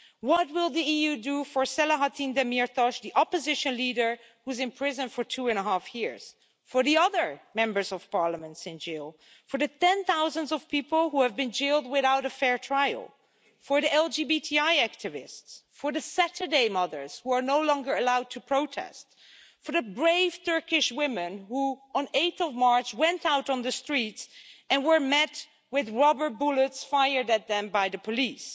What will the EU do for Selahattin Demirtaş, the opposition leader who was imprisoned for two and a half years, for the other members of parliament in jail, for the tens of thousands of people who have been jailed without a fair trial, for the LGBTI activists, for the Saturday mothers who are no longer allowed to protest, for the brave Turkish women who, on 8 March, went out on the streets and were met with rubber bullets fired at them by the police?